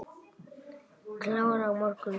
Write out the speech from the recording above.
Klára á morgun.